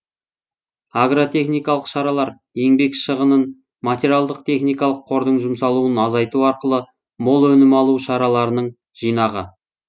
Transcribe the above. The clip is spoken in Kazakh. агротехникалық шаралар еңбек шығынын материалдық техникалық кордың жұмсалуын азайту арқылы мол өнім алу шараларының жинағы